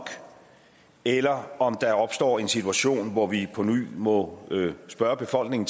eller om der opstår en situation hvor vi påny må spørge befolkningen